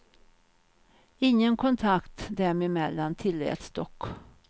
Ingen kontakt dem emellan tilläts dock.